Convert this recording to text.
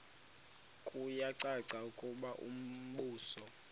kuyacaca ukuba umbuso